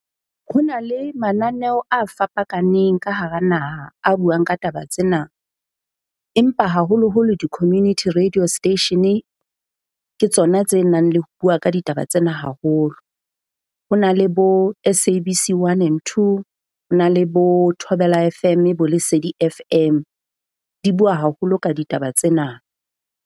Ho na le mananeo a fapakaneng ka hara naha a buang ka taba tsena, empa haholoholo di-community radio station-e ke tsona tse nang le ho bua ka ka ditaba tsena haholo. Ho na le bo S_A_B_C 1 and 2. Ho na le bo Thobela F_M, bo Lesedi F_M. Di bua haholo ka ditaba tsena.